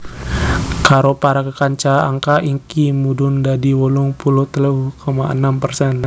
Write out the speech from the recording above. Karo para kekanca angka iki mudhun dadi wolung puluh telu koma enem persen